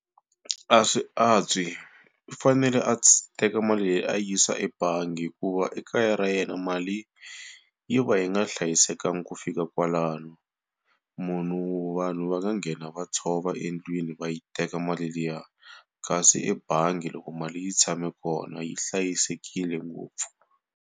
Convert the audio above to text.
A swi antswi i fanele a teka mali leyi a yi yisa ebangi hikuva ekaya ra yena mali yi va yi nga hlayisekanga ku fika kwalano. Munhu vanhu va nga nghena va tshova endlwini va yi teka mali liya kasi ebangi loko mali yi tshame kona yi hlayisekile ngopfu.